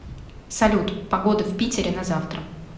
салют погода в питере на завтра